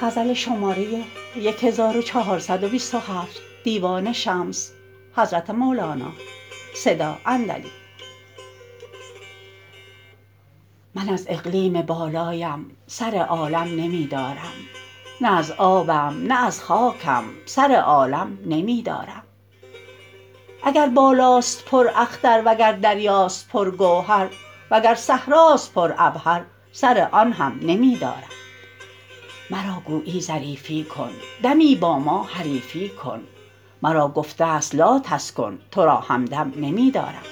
من از اقلیم بالایم سر عالم نمی دارم نه از آبم نه از خاکم سر عالم نمی دارم اگر بالاست پراختر وگر دریاست پرگوهر وگر صحراست پرعبهر سر آن هم نمی دارم مرا گویی ظریفی کن دمی با ما حریفی کن مرا گفته ست لاتسکن تو را همدم نمی دارم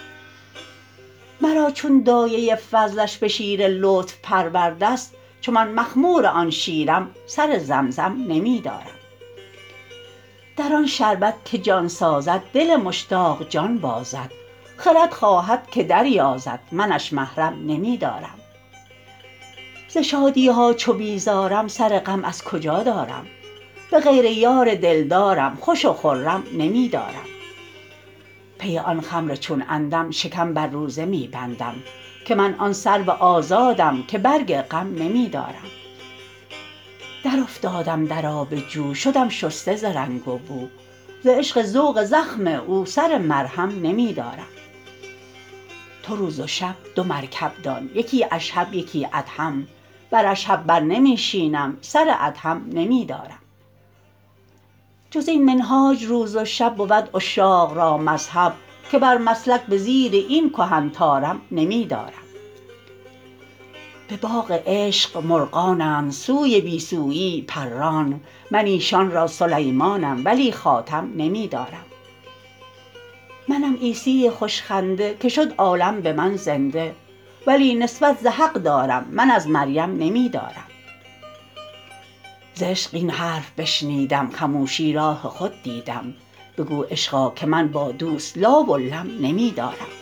مرا چون دایه فضلش به شیر لطف پرورده ست چو من مخمور آن شیرم سر زمزم نمی دارم در آن شربت که جان سازد دل مشتاق جان بازد خرد خواهد که دریازد منش محرم نمی دارم ز شادی ها چو بیزارم سر غم از کجا دارم به غیر یار دلدارم خوش و خرم نمی دارم پی آن خمر چون عندم شکم بر روزه می بندم که من آن سرو آزادم که برگ غم نمی دارم درافتادم در آب جو شدم شسته ز رنگ و بو ز عشق ذوق زخم او سر مرهم نمی دارم تو روز و شب دو مرکب دان یکی اشهب یکی ادهم بر اشهب بر نمی شینم سر ادهم نمی دارم جز این منهاج روز و شب بود عشاق را مذهب که بر مسلک به زیر این کهن طارم نمی دارم به باغ عشق مرغانند سوی بی سویی پران من ایشان را سلیمانم ولی خاتم نمی دارم منم عیسی خوش خنده که شد عالم به من زنده ولی نسبت ز حق دارم من از مریم نمی دارم ز عشق این حرف بشنیدم خموشی راه خود دیدم بگو عشقا که من با دوست لا و لم نمی دارم